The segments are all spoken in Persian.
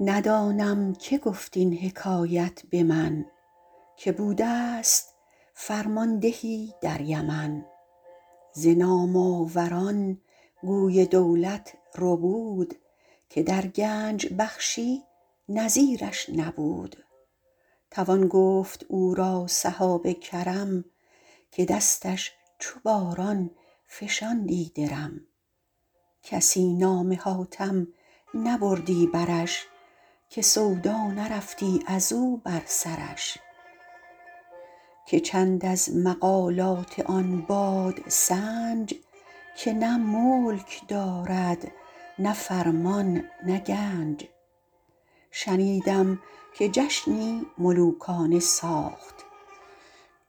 ندانم که گفت این حکایت به من که بوده ست فرماندهی در یمن ز نام آور ان گوی دولت ربود که در گنج بخشی نظیر ش نبود توان گفت او را سحاب کرم که دستش چو باران فشاندی درم کسی نام حاتم نبردی برش که سودا نرفتی از او بر سرش که چند از مقالات آن بادسنج که نه ملک دارد نه فرمان نه گنج شنیدم که جشنی ملوکانه ساخت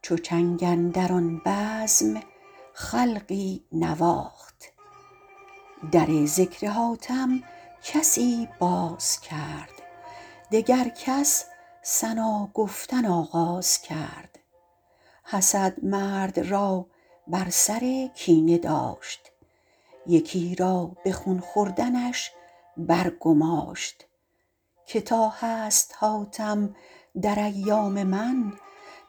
چو چنگ اندر آن بزم خلقی نواخت در ذکر حاتم کسی باز کرد دگر کس ثنا گفتن آغاز کرد حسد مرد را بر سر کینه داشت یکی را به خون خوردنش بر گماشت که تا هست حاتم در ایام من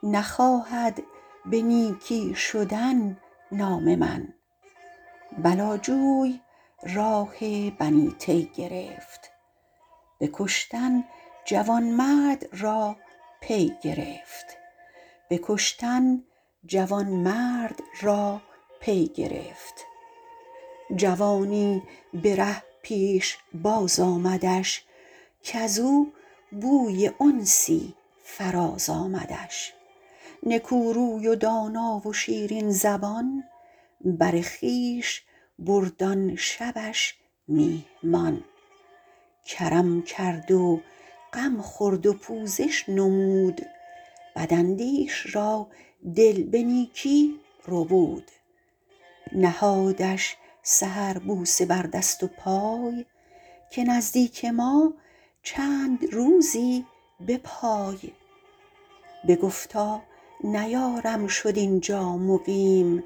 نخواهد به نیکی شدن نام من بلا جوی راه بنی طی گرفت به کشتن جوانمرد را پی گرفت جوانی به ره پیشباز آمدش کز او بوی انسی فراز آمدش نکو روی و دانا و شیرین زبان بر خویش برد آن شبش میهمان کرم کرد و غم خورد و پوزش نمود بد اندیش را دل به نیکی ربود نهادش سحر بوسه بر دست و پای که نزدیک ما چند روزی بپای بگفتا نیارم شد اینجا مقیم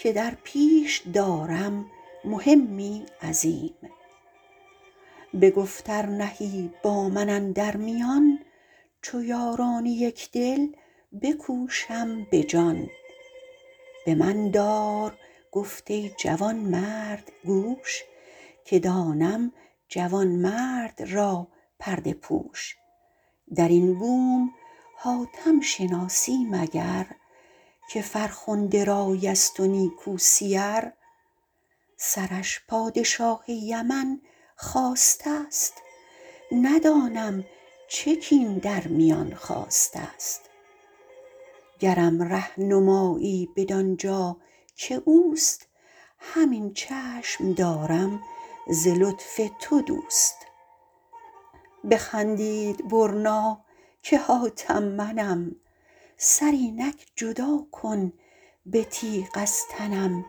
که در پیش دارم مهمی عظیم بگفت ار نهی با من اندر میان چو یاران یکدل بکوشم به جان به من دار گفت ای جوانمرد گوش که دانم جوانمرد را پرده پوش در این بوم حاتم شناسی مگر که فرخنده رای است و نیکو سیر سرش پادشاه یمن خواسته ست ندانم چه کین در میان خاسته ست گرم ره نمایی بدان جا که اوست همین چشم دارم ز لطف تو دوست بخندید برنا که حاتم منم سر اینک جدا کن به تیغ از تنم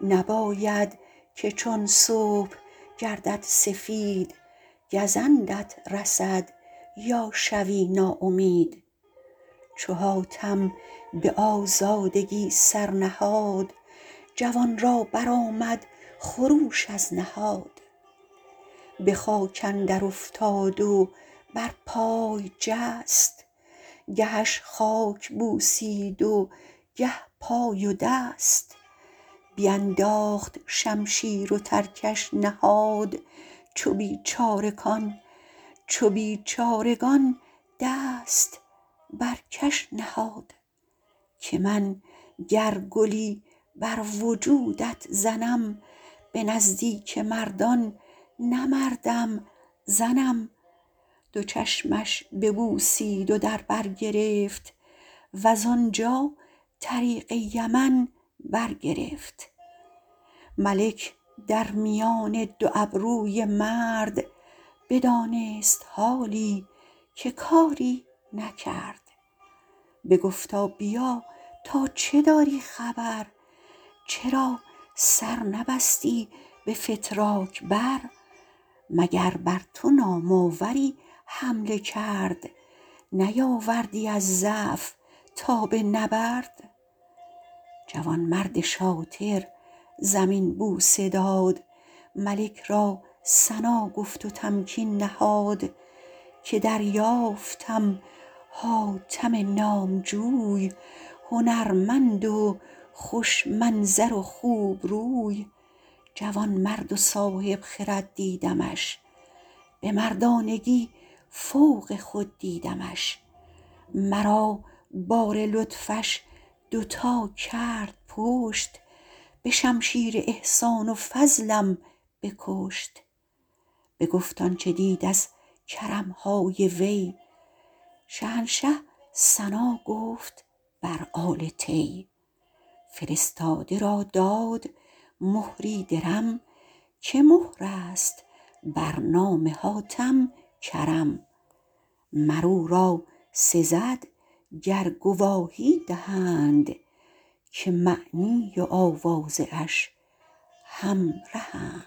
نباید که چون صبح گردد سفید گزندت رسد یا شوی ناامید چو حاتم به آزادگی سر نهاد جوان را برآمد خروش از نهاد به خاک اندر افتاد و بر پای جست گهش خاک بوسید و گه پای و دست بینداخت شمشیر و ترکش نهاد چو بیچارگان دست بر کش نهاد که من گر گلی بر وجودت زنم به نزدیک مردان نه مردم زنم دو چشمش ببوسید و در بر گرفت وز آنجا طریق یمن بر گرفت ملک در میان دو ابروی مرد بدانست حالی که کاری نکرد بگفتا بیا تا چه داری خبر چرا سر نبستی به فتراک بر مگر بر تو نام آوری حمله کرد نیاوردی از ضعف تاب نبرد جوانمرد شاطر زمین بوسه داد ملک را ثنا گفت و تمکین نهاد که دریافتم حاتم نامجوی هنرمند و خوش منظر و خوبروی جوانمرد و صاحب خرد دیدمش به مردانگی فوق خود دیدمش مرا بار لطفش دو تا کرد پشت به شمشیر احسان و فضلم بکشت بگفت آنچه دید از کرم های وی شهنشه ثنا گفت بر آل طی فرستاده را داد مهری درم که مهر است بر نام حاتم کرم مر او را سزد گر گواهی دهند که معنی و آوازه اش همرهند